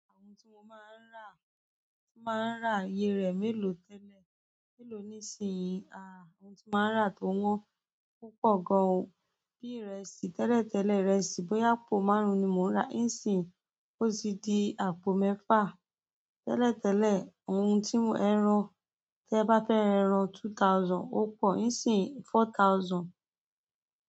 Ohun tí mo máa ń rà, tí máa ń rà iye rẹ̀ mélòó tẹ́lẹ̀, mélòó nísinsìnyí. Aà! Ohun tí màá rà tó wọ́n púpọ̀ gan-an bí ìrẹsì. Tẹ́lẹ̀tẹ́lẹ̀ ìrẹsì bóyá àpò márùn-ún ni mo ń rà nísìnyí ó ti di àpò mẹ́fà. Tẹ́lẹ̀tẹ́lẹ̀ ohun tí mo ẹrán, tí ẹ bá fẹ́ ra ẹran two thousand ó pọ̀, nísìnyí four thousand.